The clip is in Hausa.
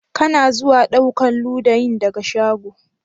Ka na zuwa ɗaukan ludayin daga shago?